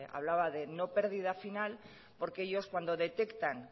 hablaba de no pérdida final porque ellos cuando detectan